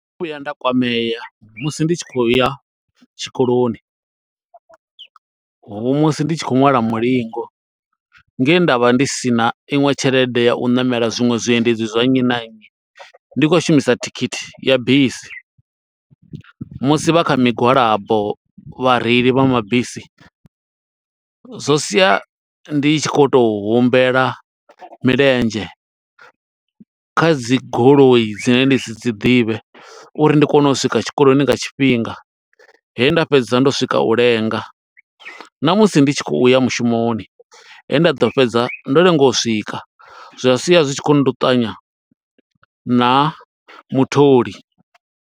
Ndo no vhuya nda kwamea, musi ndi tshi khou ya tshikoloni, ho musi ndi tshi khou ṅwala mulingo, nge nda vha ndi sina iṅwe tshelede ya u ṋamela zwiṅwe zwiendedzi zwa nnyi na nnyi, ndi khou shumisa thikhithi ya bisi, musi vha kha migwalabo vhareili vha mabisi, zwo sia ndi tshi khou to humbela milenzhe kha dzi goloi dzine ndi si dzi ḓivhe, uri ndi kone u swika tshikoloni nga tshifhinga. He nda fhedza ndo swika u lenga, na musi ndi tshi khou ya mushumoni, he nda ḓo fhedza ndo lenga u swika. Zwa sia zwi tshi khou nduṱanya na mutholi.